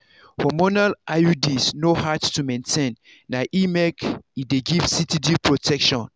hormonal iuds no hard to maintain na e make e dey give steady protection.